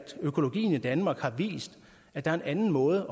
økologien i danmark har vist at der er en anden måde